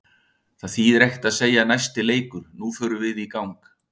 Það þýðir ekki að segja næsti leikur, nú förum við í gang.